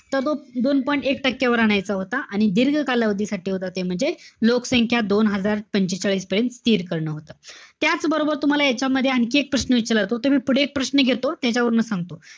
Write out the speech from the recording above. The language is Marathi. तर तो दोन point एक टक्केवर आणायचा होता. आणि जे दीर्घ कालावधी साठी होता ते म्हणजे, लोकसंख्या दोन हजार पंचेचाळीस पर्यंत स्थिर करणं होतं. त्याचबरोबर, तुम्हाला यांच्यामध्ये आणखी एक प्रश्न विचारला जातो. ते मी पुढे एक प्रश्न घेतो. त्याच्यावरनं सांगतो.